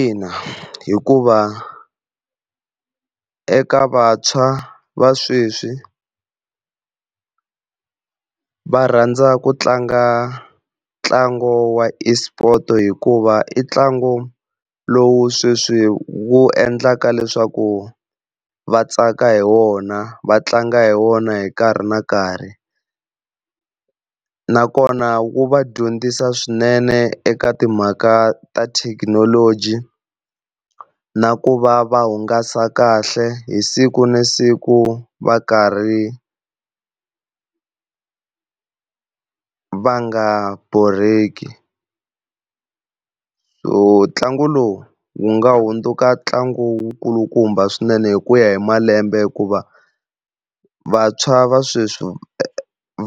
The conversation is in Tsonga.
Ina hikuva eka vantshwa va sweswi va rhandza ku tlanga ntlangu wa esport, hikuva i ntlangu lowu sweswi wu endlaka leswaku va tsaka hi wona va tlanga hi wona hi nkarhi na nkarhi, nakona eu va dyondzisa swinene eka timhaka ta thekinoloji na ku va va hungasa kahle hi siku na siku va karhi va nga borheki. So ntlangu lowu wu nga hundzuka ntlangu wu kulukumba swinene hi ku ya hi malembe hikuva vantshwa va sweswi